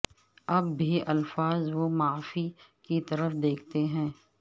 اب بھی الفاظ و معانی کی طرف دیکھتے ہیں